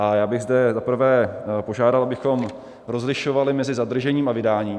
A já bych zde za prvé požádal, abychom rozlišovali mezi zadržením a vydáním.